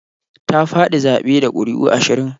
Ta faɗi zaɓe da ƙuri'u ashirin.